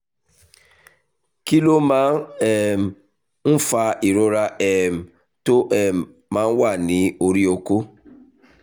kí ló máa um ń fa ìrora um tó um máa ń wà ní orí okó?